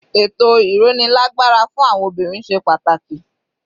Ètò ìrónilágbára fún àwọn obìnrin ṣe pàtàkì.